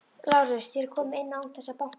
LÁRUS: Þér komið inn án þess að banka.